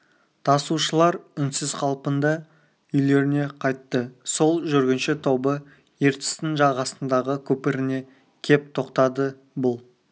тасушылар үнсіз қалпында үйлеріне қайтты сол жүргінші тобы ертістің жағасындағы көпіріне кеп тоқтады бұл